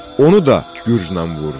Onu da gücznən vurdu.